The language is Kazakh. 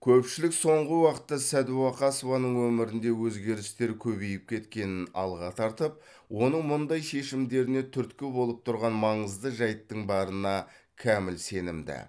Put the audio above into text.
көпшілік соңғы уақытта сәдуақасованың өмірінде өзгерістер көбейіп кеткенін алға тартып оның мұндай шешімдеріне түрткі болып тұрған маңызды жайттың барына кәміл сенімді